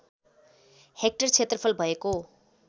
hectare क्षेत्रफल भएको